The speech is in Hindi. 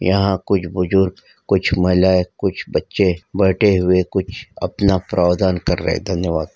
यहाँ कुछ बुजुर्ग कुछ महिला कुछ बच्चे बैठे हुए कुछ अपना प्रौधान कर रहे है धन्यवाद।